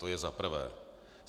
To je za prvé.